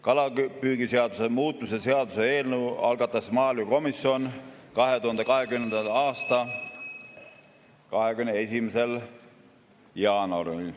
Kalapüügiseaduse muutmise seaduse eelnõu algatas maaelukomisjon 2020. aasta 21. jaanuaril.